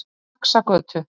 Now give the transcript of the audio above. Faxagötu